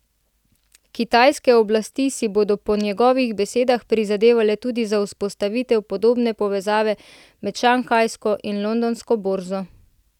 Kitajske oblasti si bodo po njegovih besedah prizadevale tudi za vzpostavitev podobne povezave med šanghajsko in londonsko borzo.